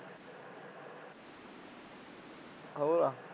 ਹੋਰ